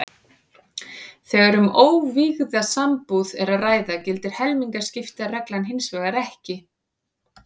Þegar um óvígða sambúð er að ræða gildir helmingaskiptareglan hins vegar ekki.